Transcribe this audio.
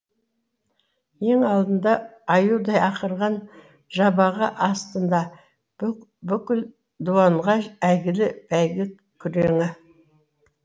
ең алында аюдай ақырған жабағы астында бүкіл дуанға әйгілі бәйгі күреңі